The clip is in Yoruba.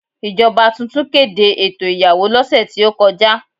Ìjọba tuntun kéde ètò ìyàwó lọ́sẹ̀ tí ó kọjá.